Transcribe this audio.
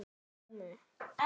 Og Anton var þarna.